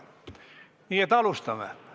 Nii et alustame.